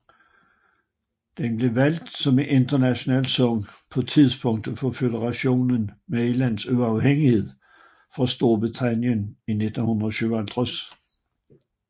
Den blev valgt som en nationalsang på tidspunktet for Føderationen Malayas uafhængighed fra Storbritannien i 1957